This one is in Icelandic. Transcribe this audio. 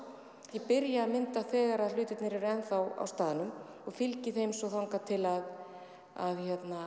ég byrja að mynda þegar hlutirnir eru enn þá á staðnum og fylgi þeim svo þangað til að